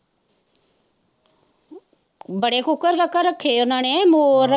ਬੜੇ ਕੁੱਕੜ-ਕਾਕੜ ਰੱਖੇ ਉਨਾਂ ਨੇ, ਮੋਰ।